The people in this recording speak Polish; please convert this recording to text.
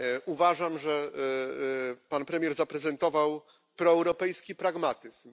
Uważam, że pan premier zaprezentował proeuropejski pragmatyzm.